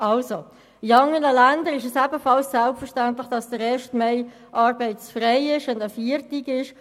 In anderen Ländern ist es ebenfalls selbstverständlich, dass der Erste Mai arbeitsfrei und ein Feiertag ist.